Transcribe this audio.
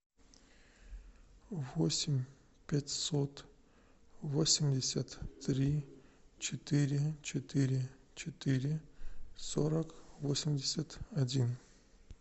восемь пятьсот восемьдесят три четыре четыре четыре сорок восемьдесят один